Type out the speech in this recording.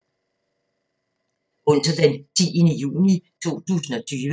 Onsdag d. 10. juni 2020